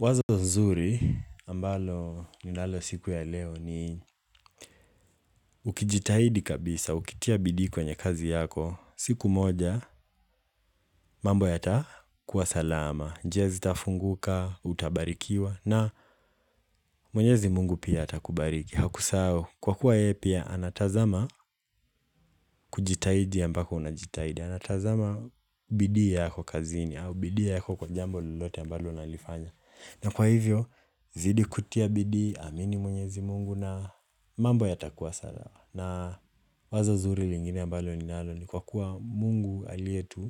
Wazo nzuri ambalo ninalo siku ya leo ni, hhh ukijitahidi kabisa, ukitia bidi kwenye kazi yako, siku moja mambo yatakuwa salama, njia tafunguka, utabarikiwa na mwenyezi mungu pia ata kubariki, hakusahau Kwa kuwa yeye pia anatazama kujitahidi ambako unajitahidi, anatazama bidii yako kazini au bidii yako kwa jambo lolote ambalo unalifanya. Na kwa hivyo, zidi kutia bidii, amini mwenyezi mungu na mambo ya takuwa salama. Na wazo zuri lingine ambalo ni nalo ni kwa kuwa mungu alietuumba